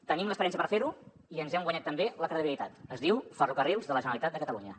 tenim l’experiència per fer ho i ens hem guanyat també la credibilitat es diu ferrocarrils de la generalitat de catalunya